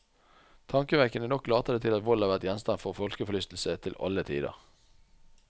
Tankevekkende nok later det til at vold har vært gjenstand for folkeforlystelse til alle tider.